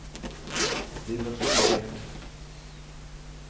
dimensjonert